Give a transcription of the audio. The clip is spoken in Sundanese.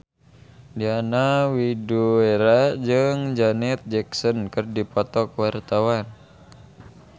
Diana Widoera jeung Janet Jackson keur dipoto ku wartawan